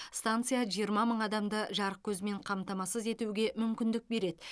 станция жиырма мың адамды жарық көзімен қамтамасыз етуге мүмкіндік береді